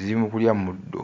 ziri mu kulya muddo.